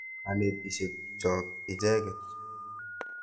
Kanetik chok icheket.